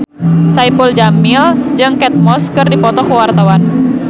Saipul Jamil jeung Kate Moss keur dipoto ku wartawan